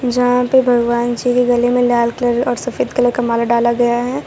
जहां पे भगवान जी के गले में लाल कलर और सफेद कलर का माला डाला गया है।